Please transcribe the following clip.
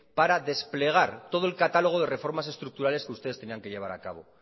para desplegar todo el catálogo de reformas estructurales que ustedes tenían que llevar a cabo